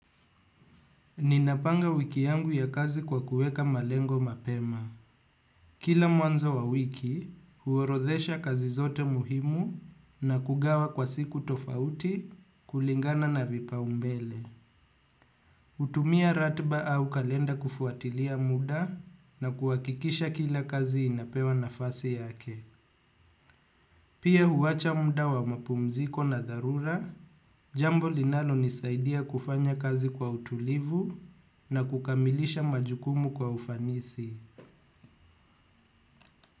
Ninapanga wiki yangu ya kazi kwa kuweka malengo mapema. Kila mwanzo wa wiki, huorodhesha kazi zote muhimu na kugawa kwa siku tofauti kulingana na vipaumbele. Kutumia ratiba au kalenda kufuatilia muda na kuhakikisha kila kazi inapewa nafasi yake. Pia huwacha muda wa mapumziko na dharura, jambo linalo nisaidia kufanya kazi kwa utulivu na kukamilisha majukumu kwa ufanisi.